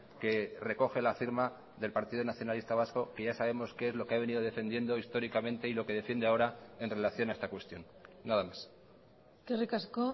que recoge la firma del partido nacionalista vasco que ya sabemos qué es lo que ha venido defendiendo históricamente y lo que defiende ahora en relación a esta cuestión nada más eskerrik asko